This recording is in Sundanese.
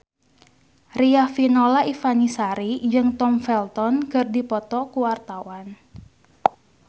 Riafinola Ifani Sari jeung Tom Felton keur dipoto ku wartawan